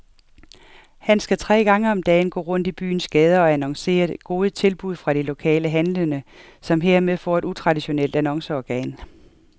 Han skal tre gange om dagen gå rundt i byens gader og annoncere gode tilbud fra de lokale handlende, som hermed får et utraditionelt annonceorgan.